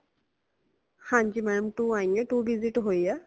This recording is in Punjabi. ਹਾਂਜੀ ma'am two ਆਇਆਂ two visit ਹੋਇਆਂ